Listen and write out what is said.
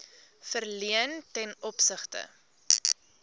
verleen ten opsigte